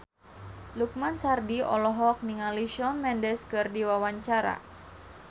Lukman Sardi olohok ningali Shawn Mendes keur diwawancara